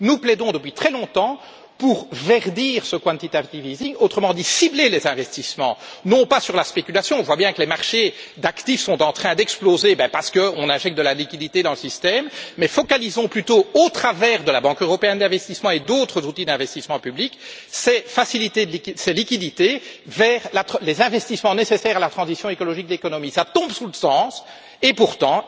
Nous plaidons depuis très longtemps pour verdir ce quantitative easing autrement dit cibler les investissements non pas sur la spéculation on voit bien que les marchés d'actifs sont en train d'exploser parce qu'on injecte de la liquidité dans le système mais orienter plutôt, au travers de la Banque européenne d'investissement et d'autres outils d'investissement public, ces liquidités vers les investissements nécessaires à la transition écologique de l'économie. Cela tombe sous le sens et pourtant,